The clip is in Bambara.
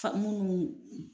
Famuunu